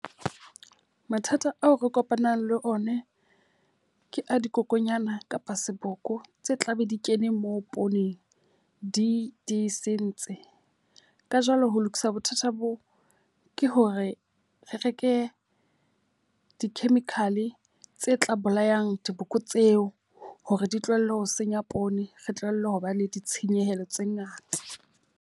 Mathata ao re kopanang le ona ke a dikokonyana kapa seboko tse tla be di kene moo pooneng, di di sentse. Ka jwalo ho lokisa bothata boo ke hore re reke di-chemical tse tla bolayang diboko tseo hore di tlohelle ho senya poone. Re tlohelle ho ba le ditshenyehelo tse ngata.